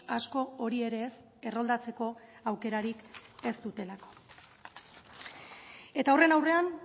asko hori ere ez erroldatzeko aukerarik ez dutelako eta horren aurrean